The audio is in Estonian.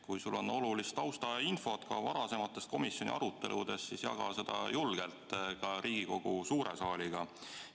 Kui sul on olulist taustainfot varasematest komisjoni aruteludest, siis jaga seda julgelt ka Riigikogu suure saaliga.